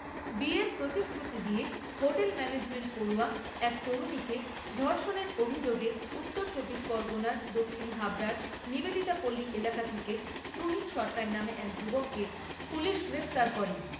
বিয়ের প্রতিশ্রুতি দিয়ে হোটেল ম্যানেজমেন্ট পড়ুয়া এক তরুণীকে ধর্ষণের অভিযোগে উত্তর চব্বিশ পরগণার দক্ষিণ হাবড়ার নিবেদিতা পল্লী এলাকা থেকে তুহিন সরকার নামে এক যুবককে পুলিশ গ্রেপ্তার করে।